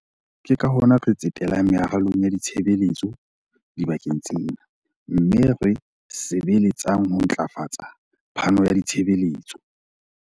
Ke ka hona re tsetelang meralong ya ditshebeletso dibakeng tsena mme re sebeletsang ho ntlafatsa phano ya ditshebeletso.